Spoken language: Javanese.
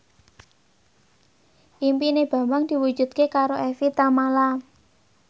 impine Bambang diwujudke karo Evie Tamala